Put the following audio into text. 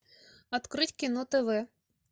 открыть кино тв